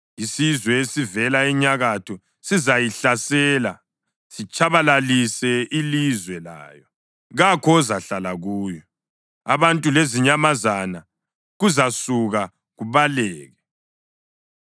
Isizwe esivela enyakatho sizayihlasela sitshabalalise ilizwe layo. Kakho ozahlala kuyo; abantu lezinyamazana kuzasuka kubaleke.